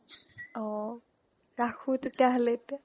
অ ৰাখো তেতিয়াহ'লে এতিয়া